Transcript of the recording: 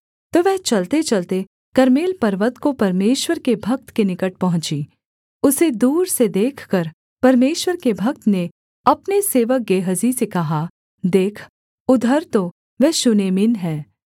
तो वह चलतेचलते कर्मेल पर्वत को परमेश्वर के भक्त के निकट पहुँची उसे दूर से देखकर परमेश्वर के भक्त ने अपने सेवक गेहजी से कहा देख उधर तो वह शूनेमिन है